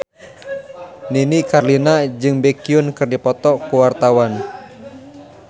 Nini Carlina jeung Baekhyun keur dipoto ku wartawan